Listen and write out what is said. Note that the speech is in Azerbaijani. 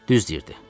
Düz deyirdi.